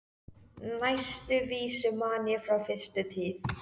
Næstu vísu man ég frá fyrstu tíð.